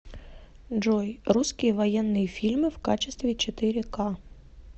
джой русские военные фильмы в качестве четыре ка